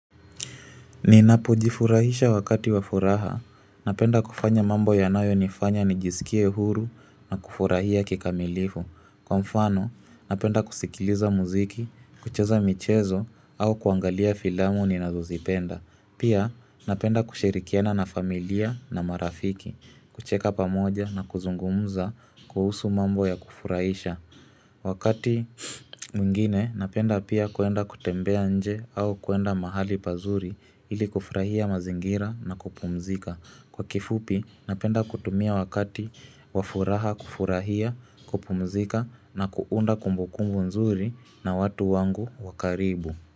Ninapo jifurahisha wakati wa furaha. Napenda kufanya mambo yanayo nifanya nijisikie huru na kufurahia kikamilifu. Kwa mfano, napenda kusikiliza muziki, kucheza michezo au kuangalia filamu ni nazozipenda. Pia, napenda kushirikiana na familia na marafiki, kucheka pamoja na kuzungumza kuhusu mambo ya kufurahisha. Wakati mwingine napenda pia kuenda kutembea nje au kuenda mahali pazuri ili kufurahia mazingira na kupumzika. Kwa kifupi napenda kutumia wakati wafuraha kufurahia kupumzika na kuunda kumbukumbu nzuri na watu wangu wakaribu.